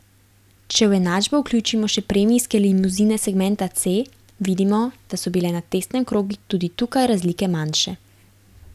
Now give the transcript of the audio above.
Če v enačbo vključimo še premijske limuzine segmenta C, vidimo, da so bile na testnem krogu tudi tukaj razlike manjše.